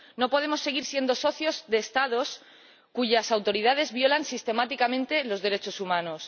No podemos seguir siendo socios de Estados cuyas autoridades violan sistemáticamente los derechos humanos.